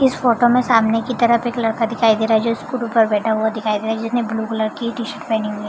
इस फोटो में सामने की तरफ एक लड़का दिखाई दे रहा है जो स्कूटर पे बैठा हुआ दिखाई दे रहा है जिसने ब्लू कलर की टी-शर्ट पहनी हुई है ।